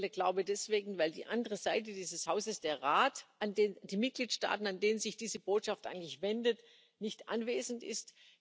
Mir fehlt der Glaube deswegen, weil die andere Seite dieses Hauses, der Rat die Mitgliedstaaten an den sich diese Botschaft eigentlich wendet, nicht anwesend ist.